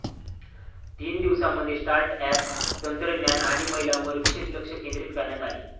तीन दिवसांमध्ये startup, तंत्रज्ञान आणि महिलांवर विशेष लक्ष केंद्रित करण्यात आले.